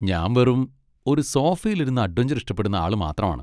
ഞാൻ വെറും ഒരു സോഫയിലിരുന്ന് അഡ്വെഞ്ചർ ഇഷ്ടപ്പെടുന്ന ആള് മാത്രമാണ്.